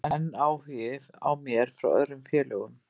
Það er enn áhugi á mér frá öðrum félögum.